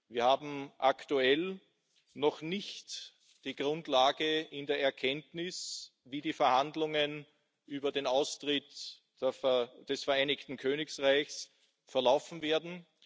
Wir wissen aktuell noch nicht, wie die Verhandlungen über den Austritt des Vereinigten Königreichs verlaufen werden.